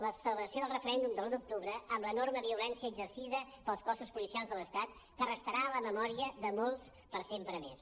la celebració del referèndum de l’un d’octubre amb l’enorme violència exercida pels cossos policials de l’estat que restarà a la memòria de molts per sempre més